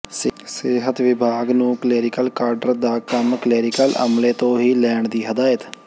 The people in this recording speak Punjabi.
ਸਿਹਤ ਵਿਭਾਗ ਨੂੰ ਕਲੈਰੀਕਲ ਕਾਡਰ ਦਾ ਕੰਮ ਕਲੈਰੀਕਲ ਅਮਲੇ ਤੋਂ ਹੀ ਲੈਣ ਦੀ ਹਦਾਇਤ